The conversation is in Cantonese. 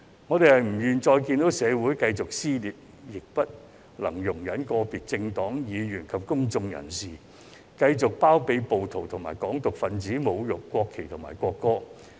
我們不願再看到社會繼續撕裂，亦不能容忍個別政黨議員及公眾人士繼續包庇暴徒及"港獨"分子侮辱國旗和國歌。